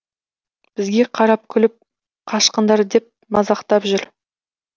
бізге қарап күліп қашқындар деп мазақтап жүр